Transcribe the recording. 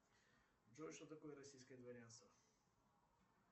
джой что такое российское дворянство